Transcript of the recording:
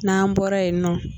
Naan bɔra yen nɔ.